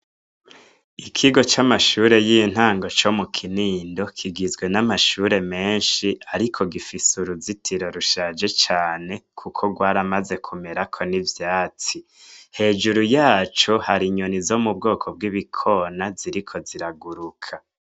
Ikigo c’amashure y’intango co mu kinindo kigizwe n’amashure menshi, ariko gifise uruzitiro rushaje cane kuko rwaramaze kumerako n’ivyatsi, hejuru yaco hari inyoni zo bwoko b’ibikona ziriko ziraguruka.